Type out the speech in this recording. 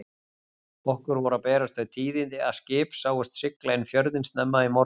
Okkur voru að berast þau tíðindi að skip sáust sigla inn fjörðinn snemma í morgun.